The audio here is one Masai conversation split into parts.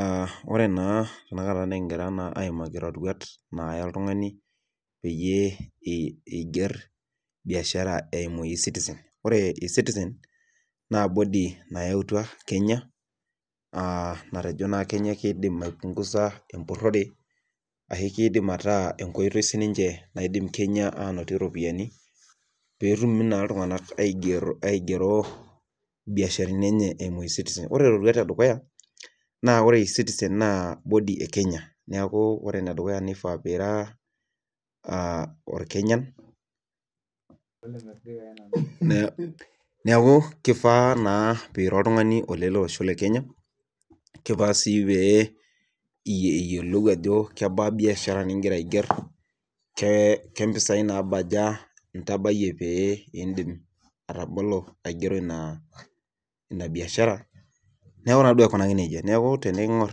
Ee ore naa enkata nikigira naake aaimaki iroruat. naaya oltungani pee iger, biashara eimu citizen. ore e citizen naa body nayautua Kenya, aa natejo naa Kenya kidim ataa enkoitoi sidai, ninche naidim Kenya aanotie ropiyiani pee etum naa iltunganak aigero, biasharani enye eimu w citizen ore roruat edukuya, naa kore w citizen naa kodi e Kenya. neeku ore, ene dukuya nifaa pee ira olkenyan. neeku kifaa naa pee ira oltungani ololosho le kenya. kigaa sii pee eyiolou ajo kebaa biashara nigir ke mpisai naabaya intabayie pee, idim atabolo aigero Ina biashara, neeku naa duo aikunaki nejia. neeku tenikingor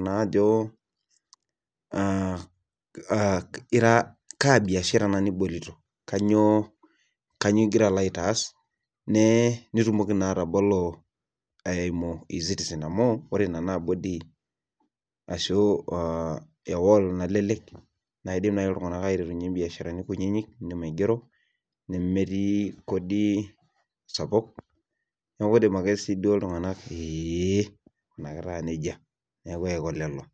naa ajo naa kigira. kaa biashara ena nibolito. kainyioo igira alo aitaas. nitumoki naa atabolo, eimu. e citizen amu ore Nena Kodi, ashu nalele k naidim naaji, iltunganak aiterunye biasharani kunyinyik idim aigero. nemetii Kodi sapuk. neeku idim ake siduo iltunganak,